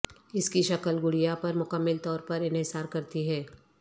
اس کی شکل گڑیا پر مکمل طور پر انحصار کرتی ہے